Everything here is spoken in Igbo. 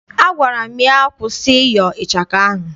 Agwara m ya, kwụsị ịyọ ịchaka ahụ!